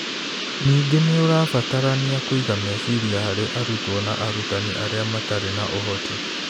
Ningĩ nĩ ũrabatarania kũiga meciria harĩ arutwo na arutani arĩa matarĩ na ũhoti.